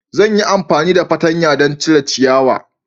Zan yi amfani da fartanya don cire ciyawa.